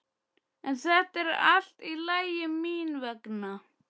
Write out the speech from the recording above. En þetta er allt í lagi mín vegna.